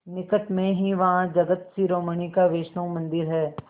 निकट में ही वहाँ जगत शिरोमणि का वैष्णव मंदिर है